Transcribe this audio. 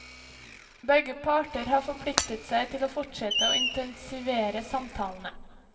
Begge parter har forpliktet seg til å fortsette og intensivere samtalene.